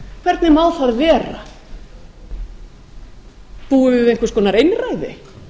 hvernig má það vera búum við við einhvers konar einræði